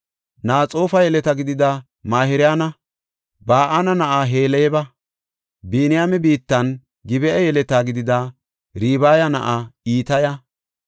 Naxoofa yeleta gidida Mahirayanne Ba7ana na7aa Heleba. Biniyaame biittan, Gib7a yeleta gidida Ribaaya na7aa Itaya,